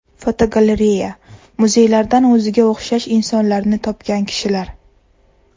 Fotogalereya: Muzeylardan o‘ziga o‘xshash insonlarni topgan kishilar.